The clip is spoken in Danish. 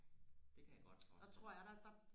det kan jeg godt forstille mig